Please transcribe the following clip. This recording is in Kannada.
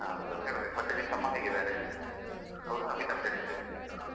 ಮತ್ತೆ ನಿನ್ ತಮ್ಮ ಹೇಗಿದ್ದಾರೆ? ಮುಗಿತಾ studies ?